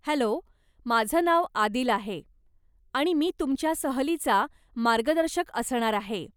Hello, माझं नाव आदिल आहे आणि मी तुमच्या सहलीचा मार्गदर्शक असणार आहे.